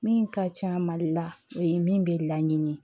Min ka ca mali la o ye min bɛ laɲini ye